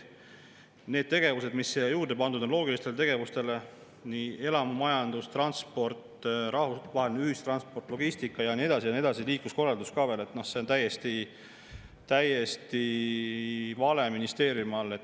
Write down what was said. Need tegevused, mis sinna loogilistele tegevustele juurde pandud on – elamumajandus, transport, rahvusvaheline ühistransport, logistika ja nii edasi ja nii edasi, liikluskorraldus ka veel – noh, see kõik on täiesti vale ministeeriumi all.